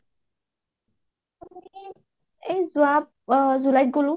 এই যোৱা july ত গলোঁ